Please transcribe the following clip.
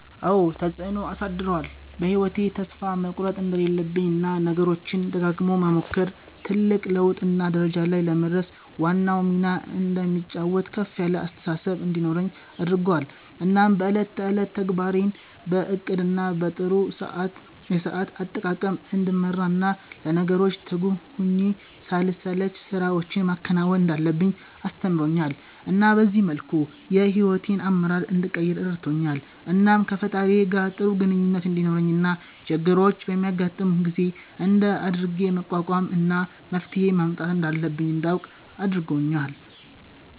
አዎ ተፀአኖ አሳድሮአል በ ህይዎቴ ተስፋ መቁረት እንደሌለብኝ እና ነገሮችን ደጋግሞ መሞከር ትልቅ ለውጥ እና ደረጃ ላይ ለመድረስ ዋናውን ሚና እንደሚጫወት ከፍ ያለ አስተሳሰብ እንዲኖረኝ አድርጎአል እናም በ እለት ተእለት ተግባሬን በ እቅድ እና በ ጥሩ የሰአት አጠቃቀም እንድመራ እና ለነገሮች ትጉህ ሁኘ ሳልሰለች ስራወችን ማከናወን እንዳለብኝ አስተምሮኛል እና በዚህ መልኩ የ ሂዎቴን አመራር እንድቀይር ረድቶኛል። እናም ከ ፈጣሪየ ጋር ጥሩ ግኝኙነት እንዲኖረኝ እና ችግሮች በሚያጋጥሙኝ ጊዜ እንደት አድርጌ መቋቋም እና መፍትሄ ማምጣት እንዳለብኝ እንዳውቅ አርጎኛል